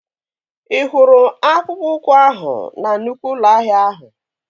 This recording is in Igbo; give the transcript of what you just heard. Ị hụrụ akpụkpọ ụkwụ ahụ na nnụkwụ ụlọ ahịa ahụ?